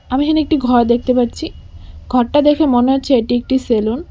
আমি এখানে একটি ঘর দেখতে পারছি ঘরটা দেখে মনে হচ্ছে এটি একটি সেলুন ।